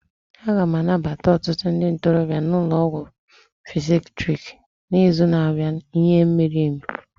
A ga-anabata ọtụtụ ndị ntorobịa n'ụlọ ọgwụ psychiatric n'izu na-abịa n'ihi mmiri mmiri